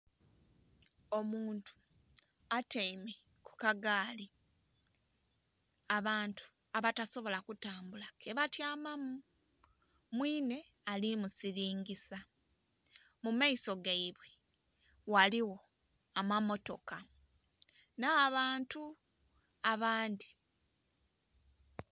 Omuntu atyaime ku kagaali abantu abatasobola kutambula ke batyamamu, mwinhe ali musilingisa. Mu maiso gaibwe ghaligho amammotoka nh'abantu abandhi.